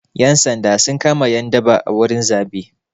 Ƴan sanda sun kama ƴan daba a wurin zaɓe.